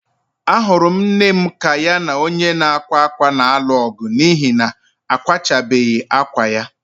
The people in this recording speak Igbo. Ahụrụ m nne m ka ya na onye na-akwa akwa na-alụ ọgụ n'ihi na kwachabeghi akwa ya.